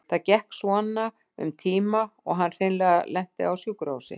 Þetta gekk svona um tíma og hann hreinlega lenti á sjúkrahúsi.